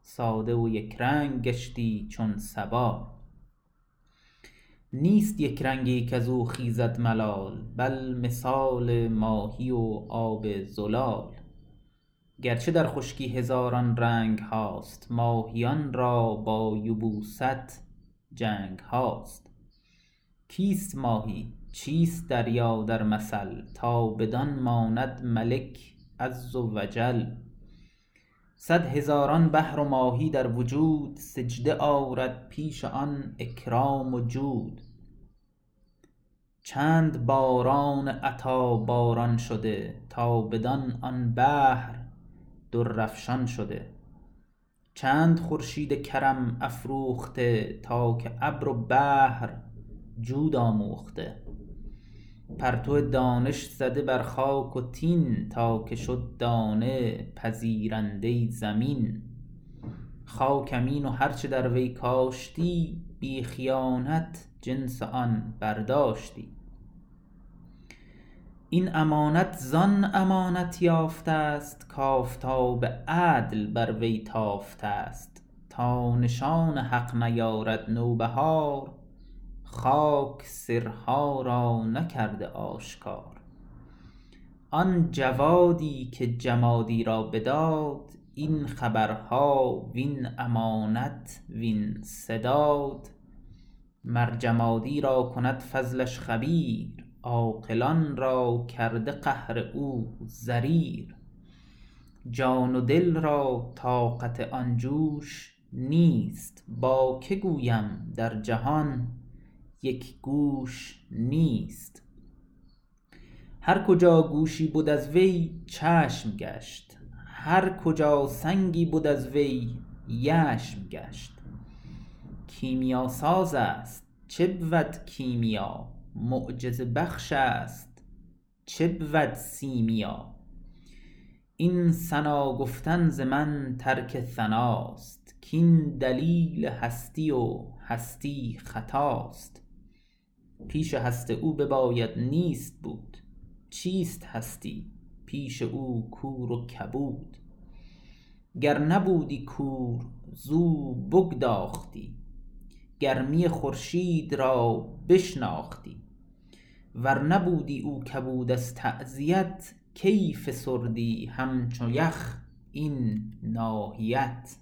ساده و یک رنگ گشتی چون صبا نیست یک رنگی کزو خیزد ملال بل مثال ماهی و آب زلال گرچه در خشکی هزاران رنگهاست ماهیان را با یبوست جنگهاست کیست ماهی چیست دریا در مثل تا بدان ماند ملک عز و جل صد هزاران بحر و ماهی در وجود سجده آرد پیش آن اکرام و جود چند باران عطا باران شده تا بدان آن بحر در افشان شده چند خورشید کرم افروخته تا که ابر و بحر جود آموخته پرتو دانش زده بر خاک و طین تا که شد دانه پذیرنده زمین خاک امین و هر چه در وی کاشتی بی خیانت جنس آن برداشتی این امانت زان امانت یافتست کآفتاب عدل بر وی تافتست تا نشان حق نیارد نوبهار خاک سرها را نکرده آشکار آن جوادی که جمادی را بداد این خبرها وین امانت وین سداد مر جمادی را کند فضلش خبیر عاقلان را کرده قهر او ضریر جان و دل را طاقت آن جوش نیست با که گویم در جهان یک گوش نیست هر کجا گوشی بد از وی چشم گشت هر کجا سنگی بد از وی یشم گشت کیمیاسازست چه بود کیمیا معجزه بخش است چه بود سیمیا این ثنا گفتن ز من ترک ثناست کین دلیل هستی و هستی خطاست پیش هست او بباید نیست بود چیست هستی پیش او کور و کبود گر نبودی کور زو بگداختی گرمی خورشید را بشناختی ور نبودی او کبود از تعزیت کی فسردی همچو یخ این ناحیت